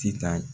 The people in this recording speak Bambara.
Titan